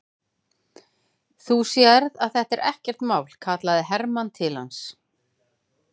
Þú sérð að þetta er ekkert mál, kallaði Hermann til hans.